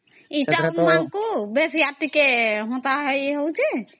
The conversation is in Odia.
ଏଇ ରକମଟା ଆଙ୍କୁ ବେଶି ଆର୍ ଟିକେ ହେନ୍ତା ହେଉଛି